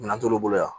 Minɛn t'olu bolo yan